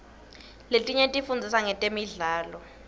letinye tifundzisa ngetemidlao